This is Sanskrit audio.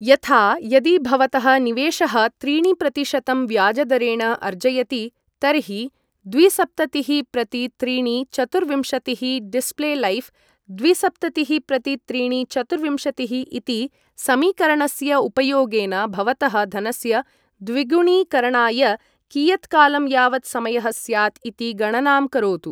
यथा, यदि भवतः निवेशः त्रीणि प्रतिशतं व्याजदरेण अर्जयति, तर्हि द्विसप्ततिःप्रतित्रीणिचतुर्विंशतिः डिस्प्लेलैफ् द्विसप्ततिःप्रतित्रीणिचतुर्विंशतिः इति समीकरणस्य उपयोगेन भवतः धनस्य द्विगुणीकरणाय कियत्कालं यावत् समयः स्यात् इति गणनां करोतु।